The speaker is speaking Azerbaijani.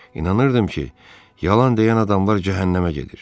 İnanırdım ki, yalan deyən adamlar cəhənnəmə gedir.